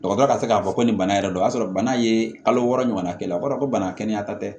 Dɔgɔtɔrɔ ka se k'a fɔ ko nin bana yɛrɛ don o y'a sɔrɔ bana ye kalo wɔɔrɔ ɲɔgɔn k'a la o b'a dɔn ko bana kɛnɛyata tɛ